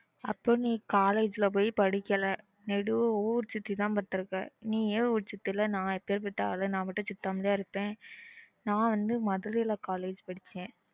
அப்போ நீ college ல பொய் படிகளா ஊரு சுடிதான் வந்துருக்கா நீயா ஊரு சுத்துற ந சுத்தமாலா இருண்டுற்ப இருப்பேன் ந வந்து Madurai college படிச்சா